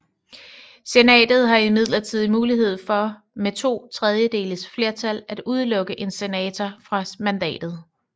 Senatet har imidlertid mulighed for med to tredjedeles flertal at udelukke en senator fra mandatet